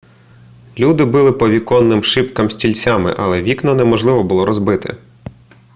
люди били по віконним шибкам стільцями але вікна неможливо було розбити